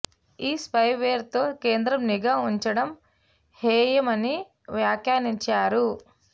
ఈ spyware తో కేంద్రం నిఘా ఉంచడం హేయమని వ్యాఖ్యానించారు